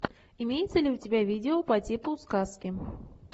имеется ли у тебя видео по типу сказки